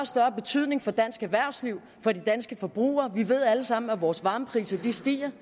større betydning for dansk erhvervsliv og for de danske forbrugere vi ved alle sammen at vores varmepriser stiger